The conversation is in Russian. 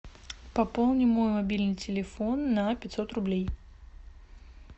пополни мой мобильный телефон на пятьсот рублей